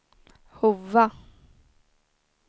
Hova